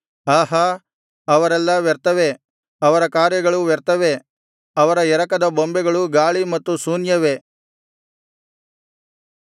ಆಹಾ ಅವರೆಲ್ಲಾ ವ್ಯರ್ಥವೇ ಅವರ ಕಾರ್ಯಗಳು ವ್ಯರ್ಥವೇ ಅವರ ಎರಕದ ಬೊಂಬೆಗಳು ಗಾಳಿ ಮತ್ತು ಶೂನ್ಯವೇ